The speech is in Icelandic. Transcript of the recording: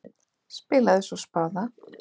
Spilaði svo spaða.